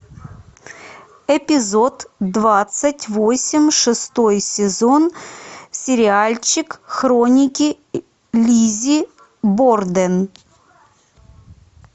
эпизод двадцать восемь шестой сезон сериальчик хроники лиззи борден